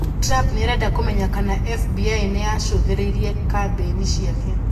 Trump nĩ arenda kũmenya kana FBI nĩ yaacũthĩrĩirie kambĩini ciake